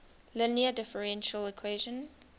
linear differential equation